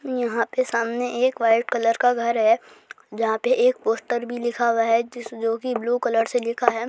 यहां पर सामने एक व्हाइट कलर का घर है जहा पे एक पोस्टर भी लिखा हुआ है जोकि ब्लू कलर से लिखा है।